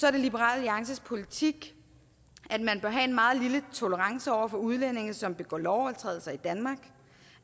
er det liberal alliances politik at man bør have en meget lille tolerance over for udlændinge som begår lovovertrædelser i danmark